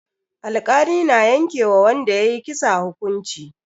Alkali na yanke wa wanda ya yi kisa hukunci.